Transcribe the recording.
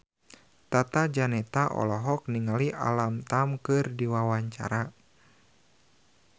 Tata Janeta olohok ningali Alam Tam keur diwawancara